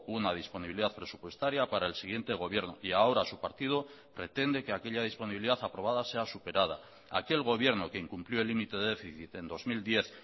una disponibilidad presupuestaria para el siguiente gobierno y ahora su partido pretende que aquella disponibilidad aprobada sea superada aquel gobierno que incumplió el límite de déficit en dos mil diez